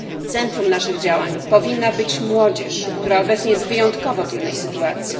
Centrum naszych działań powinna być młodzież, która obecnie znajduje się w wyjątkowo trudnej sytuacji.